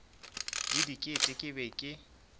le diket ke be ke